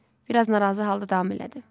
Bir az narazı halda davam elədi.